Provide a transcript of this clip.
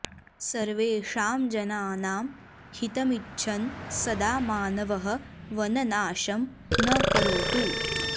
सर्वेषां जनानां हितमिच्छन् सदा मानवः वननाशं न करोतु